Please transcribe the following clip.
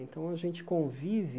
Então a gente convive